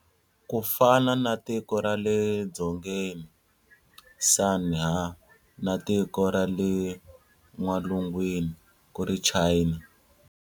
Ku fana na" Tiko ra le Dzongeni Son Ha", na"Tiko ra le N'walungwini" ku ri China.